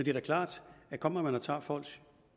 er da klart at kommer man og tager folks